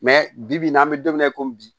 bi bi n'an bɛ don min na i ko bi